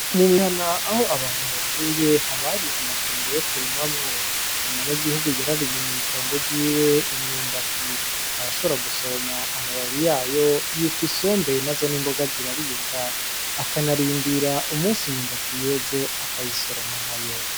Mu mihana Aho abantu batuye haba hari amatongo yo kurimamwo . Umunyagihugu yararimye mw’itongo ryiwe imyumbati , arashobora gusoroma amababi yayo yitwa Isombe nazo n’imboga ziraribwa , akanarindira umusi imyumbati yeze akayisoroma nayo.